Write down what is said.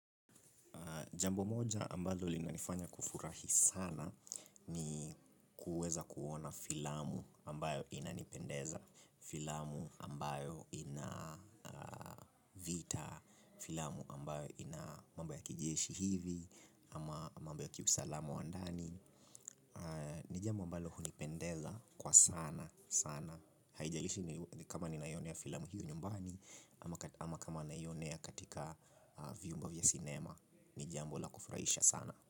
Jambo moja ambayo linanifanya kufurahi sana ni kuweza kuona filamu ambayo inanipendeza, filamu ambayo ina vita, filamu ambayo ina mambo ya kijeshi hivi, ama mambo ya kiusalamu wa ndani. Ni jambo ambalo hunipendeza kwa sana sana. Haijalishi kama ninaionea filamu hiyo nyumbani ama kama ninaionea katika viumbe vya sinema. Ni jambo la kufurahisha sana.